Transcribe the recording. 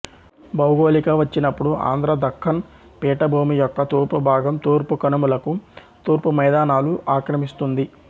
భౌగోళిక వచ్చినప్పుడు ఆంధ్ర దక్కన్ పీఠభూమి యొక్క తూర్పు భాగం తూర్పు కనుమలకు తూర్పు మైదానాలు ఆక్రమిస్తుంది